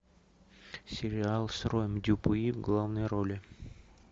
сериал с роем дюпюи в главной роли